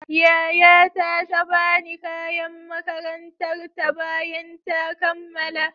Yayata ta ba ni kayan makarantar ta bayan ta kammala.